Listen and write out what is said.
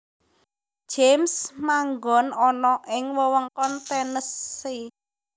James manggon ana ing wewengkon Tennessee